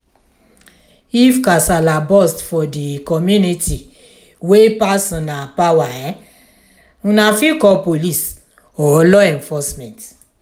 if kasala burst for di community wey pass una power una fit call police or law enforcement